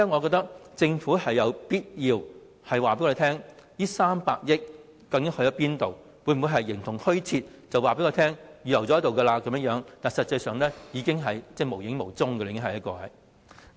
所以，政府有必要告訴我們這300億元的去向，否則撥款會否形同虛設，只是口頭告訴我們已經預留，實際上卻無影無蹤呢？